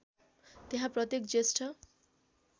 त्यहाँ प्रत्येक ज्येष्ठ